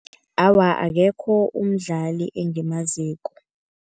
Awa, akekho umdlali engimaziko.